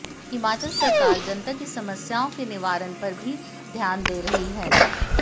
हिमाचल सरकार जनता की समस्याओं के निवारण पर भी ध्यान दे रही है